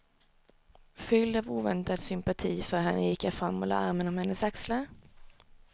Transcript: Fylld av oväntad sympati för henne gick jag fram och lade armen om hennes axlar.